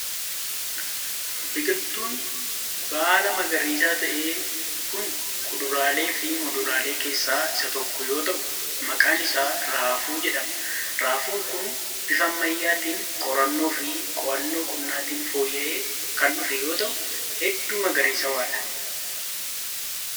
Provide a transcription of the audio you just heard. Biqiltuun baala magariisaa ta'e kun kuduraalee fi muduraalee keessaa isa tokko yoo ta'u, maqaan isaa raafuu jedhama. Raafuun kun bifa ammayyaatin qorannoo fi qo'annoo qonnaatin fooyya'ee kan dhufe yoo ta'u hedduu magariisawaa dha.